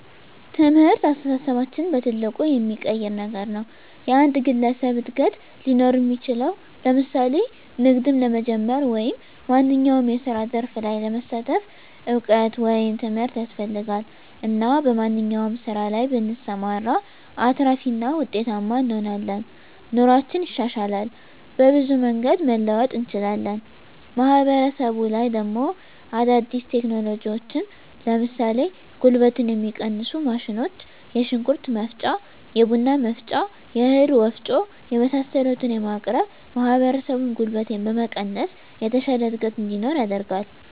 ትምህርት አስተሳሰባችንን በትልቁ የሚቀይር ነገር ነዉ። የአንድ ግለሰብ እድገት ሊኖር እሚችለዉ ለምሳሌ ንግድም ለመጀመር ወይም ማንኛዉም የስራ ዘርፍ ላይ ለመሳተፍ እዉቀት ወይም ትምህርት ያስፈልጋል እና በማንኛዉም ስራ ላይ ብንሰማራ አትራፊ እና ዉጤታማ እንሆናለን። ኑሮአችን ይሻሻላል፣ በብዙ መንገድ መለወጥ እንችላለን። ማህበረሰቡ ላይ ደሞ አዳዲስ ቴክኖሎጂዎችን ለምሳሌ ጉልበትን የሚቀንሱ ማሽኖች የሽንኩርት መፍጫ፣ የቡና መፍጫ፣ የእህል ወፍጮ የመሳሰሉትን በማቅረብ ማህበረሰቡን ጉልበት በመቀነስ የተሻለ እድገት እንዲኖር ያደርጋል።